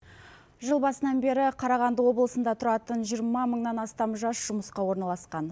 жыл басынан бері қарағанды облысында тұратын жиырма мыңнан астам жас жұмысқа орналасқан